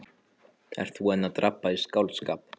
Ert þú enn að drabba í skáldskap?